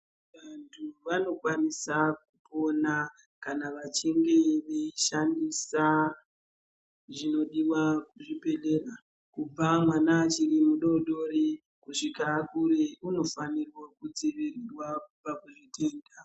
Vantu vanokwanisa kupona kana vachinge veishandisa zvinodiwa kuzvibhedhlera, kubva mwana achiri mudodori kusvika akure, unofanirwa kudzivirirwa kubva kuzvitenda.